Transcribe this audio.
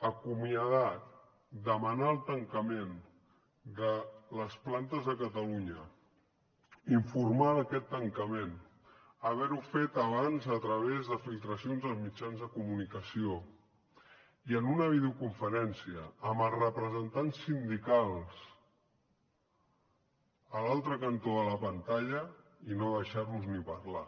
acomiadar demanar el tancament de les plantes de catalunya informar d’aquest tancament haver ho fet abans a través de filtracions als mitjans de comunicació i en una videoconferència amb els representants sindicals a l’altre cantó de la pantalla i no deixar los ni parlar